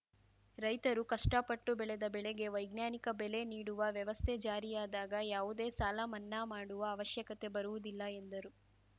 ರೈತರು ಕಷ್ಟಪಟ್ಟು ಬೆಳೆದ ಬೆಳೆಗೆ ವೈಜ್ಞಾನಿಕ ಬೆಲೆ ನೀಡುವ ವ್ಯವಸ್ಥೆ ಜಾರಿಯಾದಾಗ ಯಾವುದೇ ಸಾಲಮನ್ನಾ ಮಾಡುವ ಅವಶ್ಯಕತೆ ಬರುವುದಿಲ್ಲ ಎಂದರು